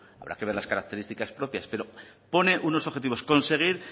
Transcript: habrá que ver las características propias pero pone unos objetivos conseguir